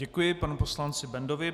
Děkuji panu poslanci Bendovi.